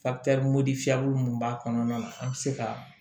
mun b'a kɔnɔna na an bɛ se ka